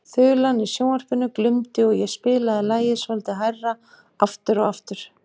Þulan í sjónvarpinu glumdi og ég spilaði lagið svolítið hærra aftur og aftur.